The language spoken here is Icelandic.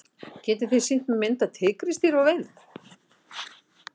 getið þið sýnt mér mynd af tígrisdýri á veiðum